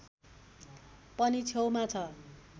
पनि छेउमा छ